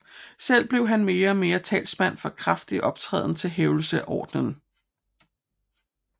Selv blev han mere og mere talsmand for kraftig optræden til hævdelse af ordenen